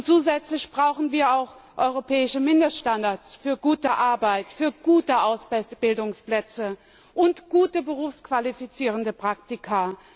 Zusätzlich brauchen wir auch europäische Mindeststandards für gute Arbeit, für gute Ausbildungsplätze und gute berufsqualifizierende Praktika.